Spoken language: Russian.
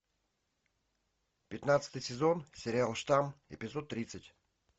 пятнадцатый сезон сериал штамм эпизод тридцать